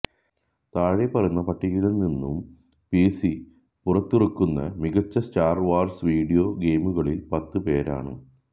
താഴെപ്പറയുന്ന പട്ടികയിൽ നിന്നും പിസി പുറത്തിറക്കുന്ന മികച്ച സ്റ്റാർ വാർസ് വീഡിയോ ഗെയിമുകളിൽ പത്ത് പേരാണ്